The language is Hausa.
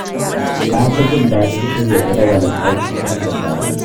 Na fi jin daɗin shirya jadawalin aiki tun da safe.